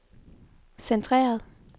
centreret